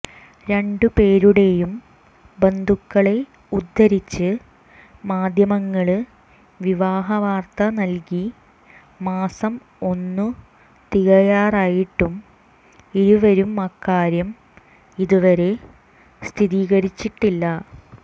രണ്ട് പേരുടെയും ബന്ധുക്കളെ ഉദ്ധരിച്ച് മാധ്യമങ്ങള് വിവാഹവാര്ത്ത നല്കി മാസം ഒന്ന് തികയാറായിട്ടും ഇരുവരും അക്കാര്യം ഇതുവരെ സ്ഥിരീകരിച്ചിട്ടില്ല